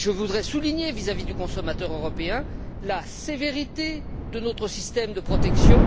Mais je voudrais souligner, vis à vis du consommateur européen, la sévérité de notre système de protection.